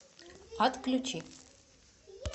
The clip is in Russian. отключи